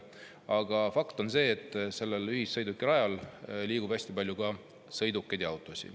Aga fakt on see, et sellel ühissõidukirajal liigub hästi palju ka sõidukeid ja autosid.